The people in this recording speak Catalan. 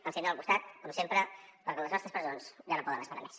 ens tindrà al costat com sempre perquè les nostres presons ja no poden esperar més